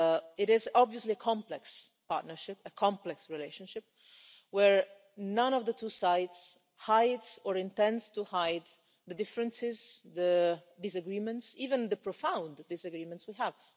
It is obviously a complex partnership, a complex relationship, where neither of the two sides hides, or intends to hide, the differences and the disagreements even the profound disagreements we have.